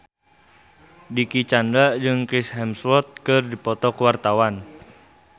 Dicky Chandra jeung Chris Hemsworth keur dipoto ku wartawan